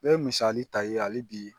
N bɛ misali ta i ye hali bi